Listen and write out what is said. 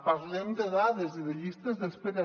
parlem de dades i de llistes d’espera